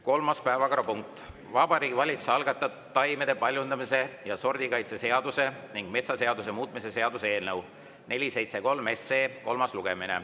Kolmas päevakorrapunkt on Vabariigi Valitsuse algatatud taimede paljundamise ja sordikaitse seaduse ning metsaseaduse muutmise seaduse eelnõu 473 kolmas lugemine.